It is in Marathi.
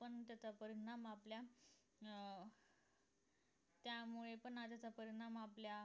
पण त्याचा परिणाम आपल्या अं त्यामुळे पण अडीचा परिणाम आपल्या